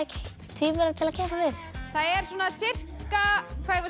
tvíbura til að keppa við það er svona sirka